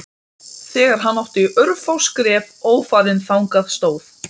Þegar hann átti örfá skref ófarin þangað stóð